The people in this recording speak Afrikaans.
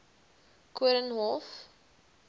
koornhof